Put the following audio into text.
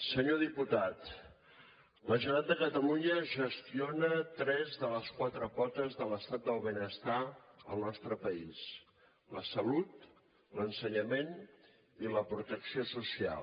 senyor diputat la generalitat de catalunya gestiona tres de les quatre potes de l’estat el benestar al nostre país la salut l’ensenyament i la protecció social